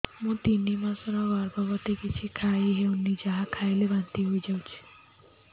ମୁଁ ତିନି ମାସର ଗର୍ଭବତୀ କିଛି ଖାଇ ହେଉନି ଯାହା ଖାଇଲେ ବାନ୍ତି ହୋଇଯାଉଛି